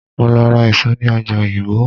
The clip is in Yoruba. Mo lọ ra èso ní ọjà oyingbo.